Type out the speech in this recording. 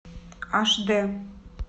аш дэ